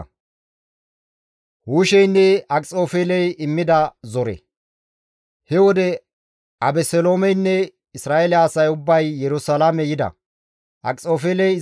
He wode Abeseloomeynne Isra7eele asay ubbay Yerusalaame yida; Akxofeeley izara issife dees.